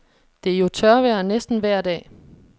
Det er jo tørvejr næsten vejr dag.